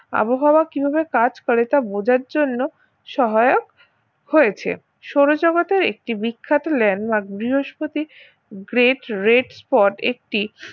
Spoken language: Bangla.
আবহাওয়া কিভাবে কাজ করে তা বোঝার জন্য সহায়ক হয়েছে সৌরজগতের একটি বিখ্যাত landmark বৃহস্পতির great red spot একটি